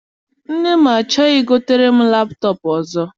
Nne m achọghị I gotere m laptọp ọzọ.